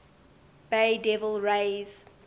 bay devil rays